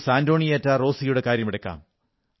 Antonieta റോസിയുടെ കാര്യമെടുക്കാം